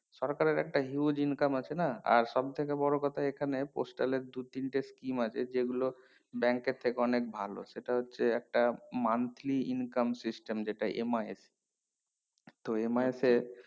সরকারের একটা huge income আছে না আর সব থেকে বোরো কথা এখানে postal এর দু তিনটে scheme আছে যে গুলো bank এর থেকে অনিক ভালো সেটা হচ্ছে একটা monthly income যেটা MIS তো MIS এ